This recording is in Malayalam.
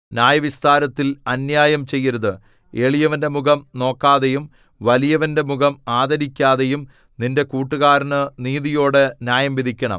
ന്യായവിസ്താരത്തിൽ അന്യായം ചെയ്യരുത് എളിയവന്റെ മുഖം നോക്കാതെയും വലിയവന്റെ മുഖം ആദരിക്കാതെയും നിന്റെ കൂട്ടുകാരനു നീതിയോടെ ന്യായം വിധിക്കണം